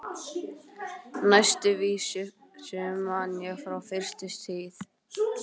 Næstu vísu man ég frá fyrstu tíð.